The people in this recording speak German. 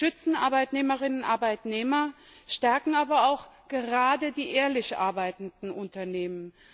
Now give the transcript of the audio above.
Sie schützen Arbeitnehmerinnen und Arbeitnehmer, stärken aber auch gerade die ehrlich arbeitenden Unternehmen.